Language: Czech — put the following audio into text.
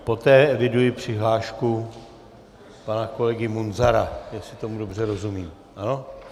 Poté eviduji přihlášku pana kolegy Munzara, jestli tomu dobře rozumím.